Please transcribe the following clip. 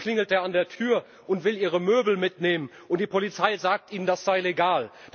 Danach klingelt er an der Tür und will Ihre Möbel mitnehmen, und die Polizei sagt Ihnen, das sei legal.